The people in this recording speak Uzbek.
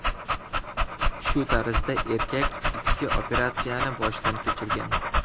Shu tarzda erkak ikki operatsiyani boshdan kechirgan.